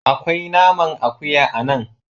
Akwai naman akuya a nan.